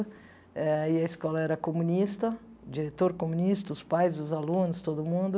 Eh e a escola era comunista, diretor comunista, os pais, os alunos, todo mundo.